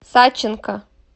саченко